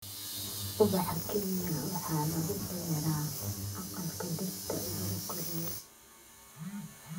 Ubaxa Kenya waxaa lagu beeraa aqalka dhirta lagu koriyo.